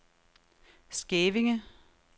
Skævinge